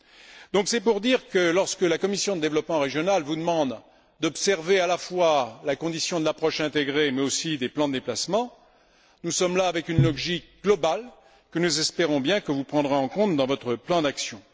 Tout cela pour dire que lorsque la commission du développement régional vous demande d'observer à la fois la condition de l'approche intégrée mais aussi des plans de déplacement, nous sommes là face à une logique globale que nous espérons bien que vous prendrez en compte dans votre plan d'action.